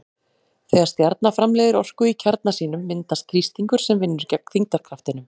Þegar stjarna framleiðir orku í kjarna sínum myndast þrýstingur sem vinnur gegn þyngdarkraftinum.